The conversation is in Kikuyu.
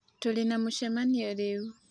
tũrĩ na mũcemanio rĩu